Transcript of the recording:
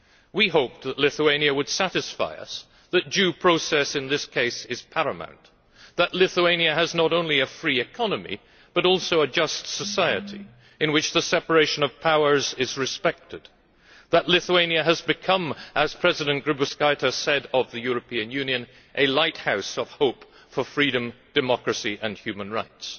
We hoped that Lithuania would satisfy us that due process in this case is paramount and that Lithuania has not only a free economy but also a just society, in which the separation of powers is respected that Lithuania has become, as President Grybauskaitė said of the European Union, a lighthouse of hope for freedom, democracy and human rights'.